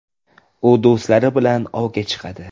U do‘stlari bilan ovga chiqadi.